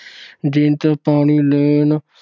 ਜੀਨਤ ਪਾਣੀ ਲੈਣ